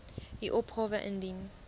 u opgawe indien